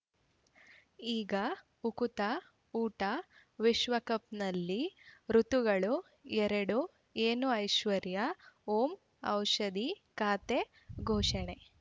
ಈಗ ಉಕುತ ಊಟ ವಿಶ್ವಕಪ್‌ನಲ್ಲಿ ಋತುಗಳು ಎರಡು ಏನು ಐಶ್ವರ್ಯಾ ಓಂ ಔಷಧಿ ಖಾತೆ ಘೋಷಣೆ